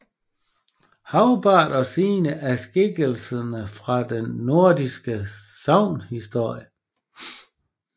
Hagbard og Signe er skikkelser fra den nordiske sagnhistorie